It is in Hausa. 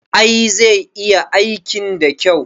I, zai iya aikin da kyau